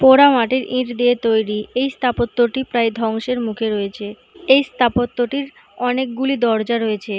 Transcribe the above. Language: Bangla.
পোড়া মাটির ইট দিয়ে তৈরি। এই স্থাপত্যটি প্রায় ধ্বংসের মুখে রয়েছে। এই স্থাপত্যটির অনেকগুলো দরজা রয়েছে।